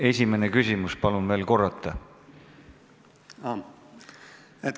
Esimene küsimus, palun veel korrata!